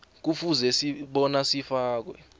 kufuze bona sifakwe